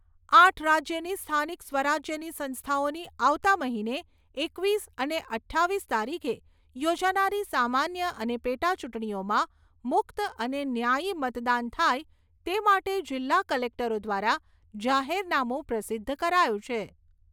આઠ રાજ્યની સ્થાનિક સ્વરાજ્યની સંસ્થાઓની આવતા મહિને એકવીસ અને અઠ્ઠાવીસ તારીખે યોજાનારી સામાન્ય અને પેટાચૂંટણીઓમાં મુક્ત અને ન્યાયી મતદાન થાય તે માટે જિલ્લા કલેક્ટરો દ્વારા જાહેરનામું પ્રસિદ્ધ કરાયું છે.